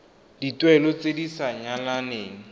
dituelo tse di sa nyalaneleng